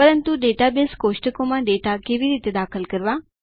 પરંતુ ડેટાબેઝ કોષ્ટકો માં ડેટા કેવી રીતે દાખલ કરવા